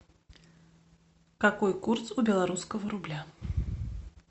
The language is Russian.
какой курс у белорусского рубля